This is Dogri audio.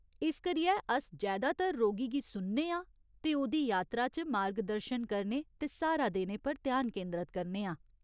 इस करियै अस जैदातर रोगी गी सुनने आं ते ओह्दी यात्रा च मार्गदर्शन करने ते स्हारा देने पर ध्यान केंदरत करने आं।